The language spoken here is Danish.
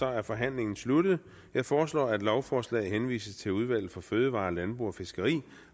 er forhandlingen sluttet jeg foreslår at lovforslaget henvises til udvalget for fødevarer landbrug og fiskeri